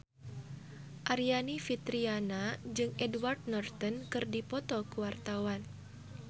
Aryani Fitriana jeung Edward Norton keur dipoto ku wartawan